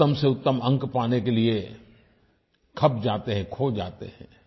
उत्तम से उत्तम अंक पाने के लिये खप जाते हैं खो जाते हैं